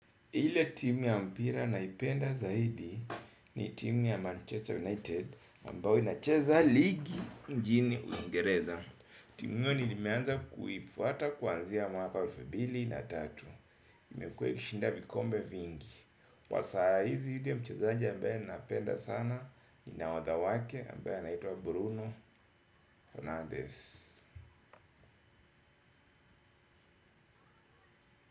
Ile timu ya mpira naipenda zaidi ni timu ya Manchester United ambao inacheza ligi njini uingereza. Timu hiyo nilimeanza kuifuhata kuanzia mwaka elfu mbili na tatu. Imekua ikishinda vikombe vingi kwa saa hizi dhidi ya mchezaaji ambaye ninapenda sana ni nahodha wake ambaya anaitwa Bruno fernandez.